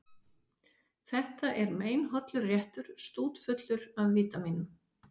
Þetta er meinhollur réttur, stútfullur af vítamínum.